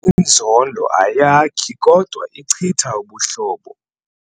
Inzondo ayakhi kodwa ichitha ubuhlobo.